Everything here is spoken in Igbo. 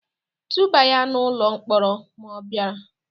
Tụba ya n'ụlọ mkpọrọ ma ọ bịara!